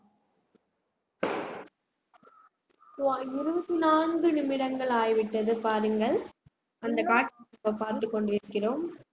சுமார் இருபத்தி நான்கு நிமிடங்கள் ஆகிவிட்டது பாருங்கள் அந்த காட்சி இப்ப பார்த்துக கொண்டிருக்கிறோம்